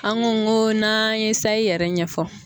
An ko n ko n'an ye sayi yɛrɛ ɲɛfɔ.